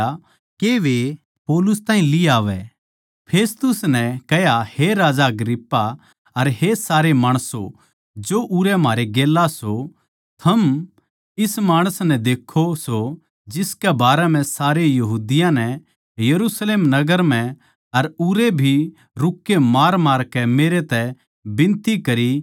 फेस्तुस नै कह्या हे राजा अग्रिप्पा अर हे सारे माणसों जो उरै म्हारै गेल्या सो थम इस माणस नै देक्खो सो जिसकै बारै म्ह सारे यहूदियाँ नै यरुशलेम नगर म्ह अर उरै भी रूक्के मारमारकै मेरै तै बिनती करी के इसका जिन्दा रहणा सही कोनी